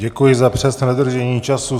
Děkuji za přesné dodržení času.